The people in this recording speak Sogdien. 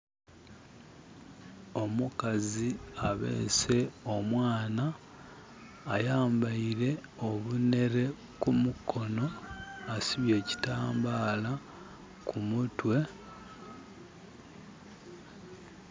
Omukazi abeese omwana ayambeire obunhere ku mukono, asibye ekitambala ku mutwe.